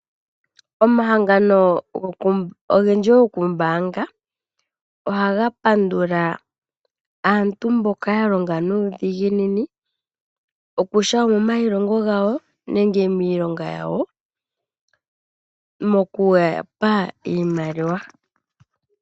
Omahangano ogendji gokuumbaanga, ohaga pandula aantu mboka ya longa nuudhiginini okutya omomailongo gawo nenge miilonga yawo mokuyapa iimaliwa.